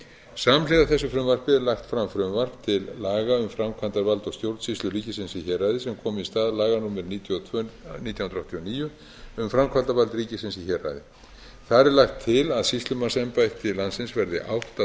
samhliða þessu frumvarpi er lagt fram frumvarp til laga um framkvæmdavald og stjórnsýslu ríkisins í héraði sem komi ís að laga númer níutíu og tvö nítján hundruð áttatíu og níu um framkvæmdavald ríkisins í héraði þar er lagt til að sýslumannsembætti landsins verði átta talsins